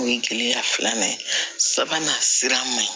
O ye kelenya filanan ye sabanan sira man ɲi